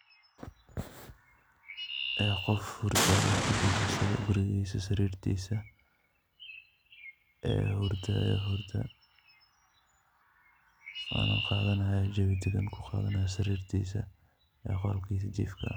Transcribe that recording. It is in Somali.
Qof hurdaayo oo kujiifo guriigiisa sariirtiisa, hurdaayo hurda, qaadanaayo jawi dagan ku qaadanaayo sariirtiisa ee qolkiisa jiifka.